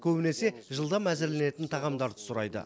көбінесе жылдам әзірленетін тағамдарды сұрайды